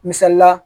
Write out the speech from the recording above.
Misali la